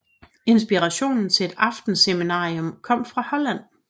Inspirationen til et aftenseminarium kom fra Holland